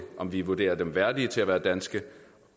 om vi vurderer dem værdige til at være danske